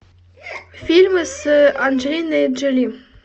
фильмы с анджелиной джоли